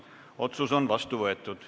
Otsus on vastu võetud.